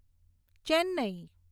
Chennai